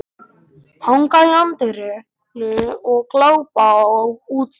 Hanga í anddyrinu og glápa á útstillingarnar.